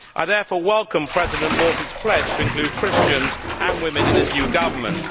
I therefore welcome President Morsi's pledge to include Christians and women in his new government.